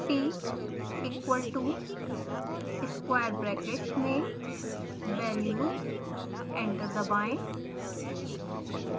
t equal to square brackets में values enter दबाएं